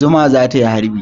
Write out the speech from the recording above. Zuma za ta yi harbi.